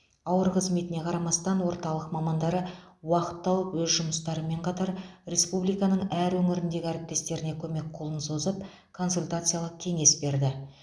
ауыр қызметіне қарамастан орталық мамандары уақыт тауып өз жұмыстарымен қатар республиканың әр өңіріндегі әріптестеріне көмек қолын созып консультациялық кеңес берді